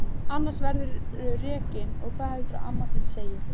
Annars verðurðu rekinn og hvað heldurðu að amma þín segi!